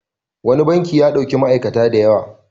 Wani banki ya ɗauki ma'aikata da yawa.